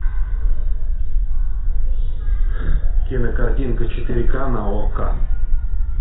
кинокартинка четыре ка на окко